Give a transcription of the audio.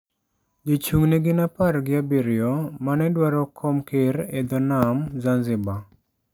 Jochung' ne gin apar gi abiriyo mane dwaro kom ker e dho nam Zanzibar.